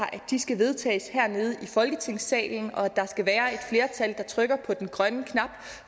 vedtages hernede i folketingssalen og at der trykker på den grønne knap